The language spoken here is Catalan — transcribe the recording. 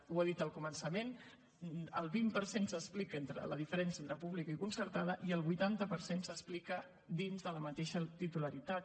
ho ha dit al començament el vint per cent s’explica en la diferència entre pública i concertada i el vuitanta per cent s’explica dins de la mateixa titularitat